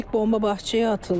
İlk bomba bağçaya atıldı.